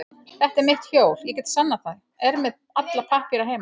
Þetta er mitt hjól, ég get sannað það, er með alla pappíra heima.